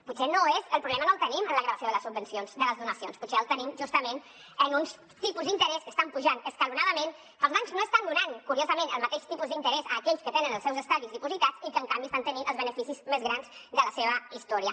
potser el problema no el tenim en la gravació de les donacions potser el tenim justament en uns tipus d’interès que estan pujant escalonadament que els bancs no estan donant curiosament el mateix tipus d’interès a aquells que tenen els seus estalvis dipositats i en canvi estan tenint els beneficis més grans de la seva història